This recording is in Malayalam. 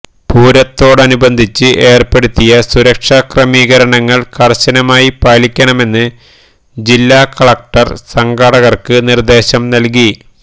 പൂരത്തോടനുബന്ധിച്ച് ഏര്പ്പെടുത്തിയ സുരക്ഷാക്രമികരണങ്ങള് കര്ശനമായി പാലിക്കണമെന്ന് ജില്ലാ കളക്ടര് സംഘാടകര്ക്ക് നിര്ദ്ദേശം നല്കി